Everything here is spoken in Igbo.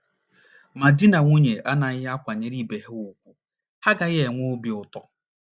Ma di na nwunye anaghị akwanyere ibe ha ùgwù, ha agaghị na - enwe obi ụtọ.